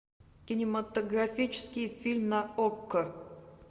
кинематографический фильм на окко